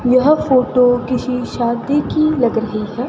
यह फोटो किसी शादी की लग रही है।